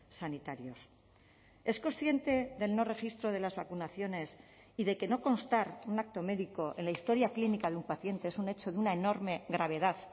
sanitarios es consciente del no registro de las vacunaciones y de que no constar un acto médico en la historia clínica de un paciente es un hecho de una enorme gravedad